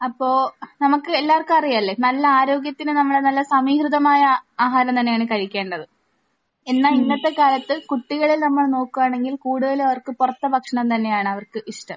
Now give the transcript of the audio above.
അപ്പോൾ നമുക്ക് എല്ലാവർക്കും അറിയാലോ നല്ല ആരോഗ്യത്തിന് നമ്മൾ നല്ല സമീകൃതമായ ആഹാരം തന്നെയാണ് കഴിക്കേണ്ടത്. എന്നാൽ ഇന്നത്തെ കാലത്ത് കുട്ടികളിൽ നമ്മൾ നോക്കുകയാണെങ്കിൽ കൂടുതലും അവർക്ക് പുറത്തെ ഭക്ഷണം തന്നെയാണ് അവർക്ക് ഇഷ്ടം.